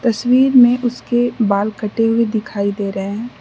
तस्वीर मे उसके बाल कटे हुए दिखाई दे रहे हैं।